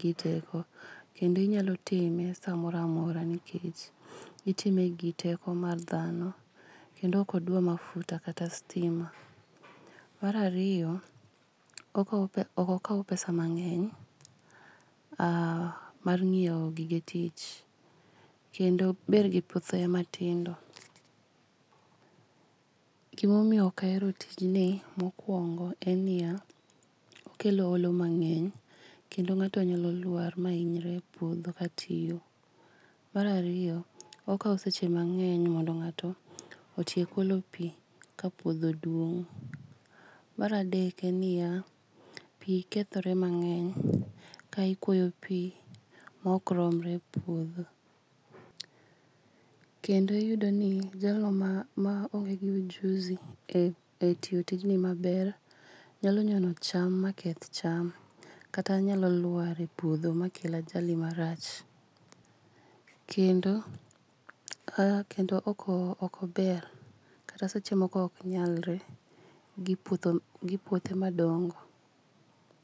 giteko. Kendo inyalo time samoro amora nikech itimengi teko mar dhano kendo ok odwa mafuta kata stima. Mar ariyo, okawo pe ok okaw pesa mang'eny aa mar nyiewo gige tich kendo obergi puothe matindo. Gima omiyo ok ahero tijni mokuongo ennia, okelo olo mang'eny kendo ng'ato nyalo lwar ma inyre epuodho katiyo. Mar ariyo, okawo seche mang'eny mondo ng'ato otiek olo pii kapuodho duong'.Mar adek ennia, pii kethore mang'eny ka ikuoyo pii maokromre epuodho. Kendo iyudoni jalno ma ma onge gi ujuzi e etiyo tijno maber nyalo nyono cham maketh cham kata nyalolwar epuodho makel ajali marach. Kendo a kendo ok okober kata seche moko ok nyalre gi puothe gi puothe madongo.